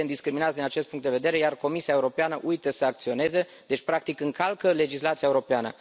Suntem discriminați din acest punct de vedere, iar Comisia Europeană uită să acționeze, deci practic încalcă legislația europeană.